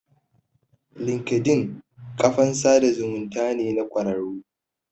Linkedin ƙafan sada zumunta ne na kwararru